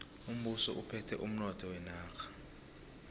umbuso uphethe umnotho wenarha